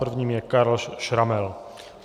Prvním je Karl Schrammel.